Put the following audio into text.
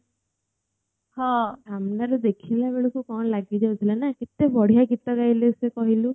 ସାମ୍ନା ରୁ ଦେଖିଲା ବେଳକୁ କଣ ଲାଗି ଯାଉଥିଲା ନା କେତେ ବଢିଆ ଗୀତ ଗାଇଲେ ସେ କହିଲୁ